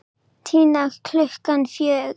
Tinnu klukkan fjögur.